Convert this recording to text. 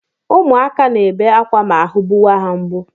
Ụmụakwa na-ebe akwa ma ahụ gbuwa ha mgbu